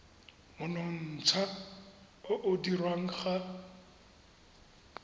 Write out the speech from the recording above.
monontsha o o dirwang ga